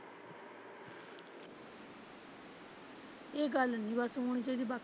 ਇਹ ਗੱਲ ਨੀ ਬਸ ਹੋਣੀ ਚਾਹੀਦੀ।